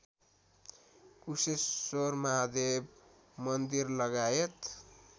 Kusheshwar Mahadev मन्दिरलगायत